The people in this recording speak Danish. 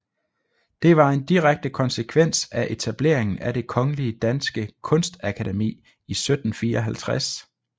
Det var en direkte konsekvens af etableringen af Det Kongelige Danske Kunstakademi i 1754